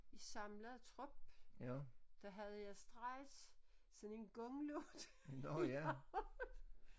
I samlet trop der havde jeg straks sådan en gonglyd i hovedet